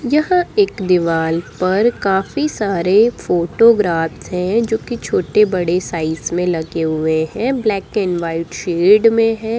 यहाँ एक दीवार पर काफी सारे फोटोग्राफ हैं जो की छोटे-बड़े साइज में लगे हुए हैं ब्लैक एंड वाइट शेड में हैं।